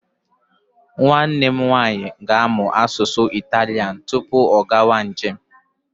Nwanne m nwaanyị ga-amụ asụsụ Italian tupu ha agawa njem.